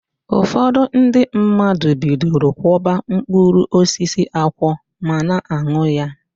Ụfọdụ ndị mmadụ bidoro kwọba mkpụrụosisi akwọ ma na-an̄ụ ya.